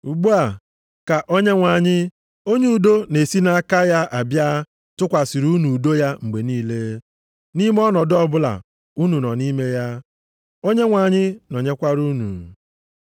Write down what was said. Ugbu a, ka Onyenwe anyị, onye udo na-esi nʼaka ya abịa tụkwasịrị unu udo ya mgbe niile, nʼime ọnọdụ ọbụla unu nọ nʼime ya. Onyenwe anyị nọnyekwara unu.